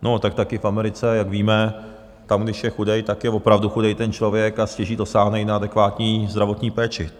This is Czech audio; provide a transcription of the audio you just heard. No tak taky v Americe, jak víme, tam když je chudej, tak je opravdu chudej ten člověk a stěží dosáhne i na adekvátní zdravotní péči.